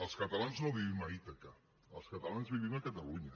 els catalans no vivim a ítaca els catalans vivim a catalunya